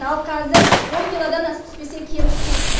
ал қазір он килодан асып түспесе кем түспейді